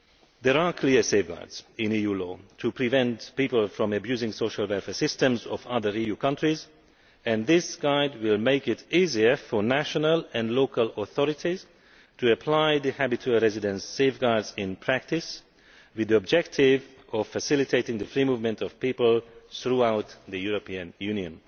There are clear safeguards in EU law to prevent people from abusing the social welfare systems of other EU countries, and this guide will make it easier for national and local authorities to apply the Habitual Residence safeguards in practice, with the objective of facilitating the free movement of people throughout the European Union.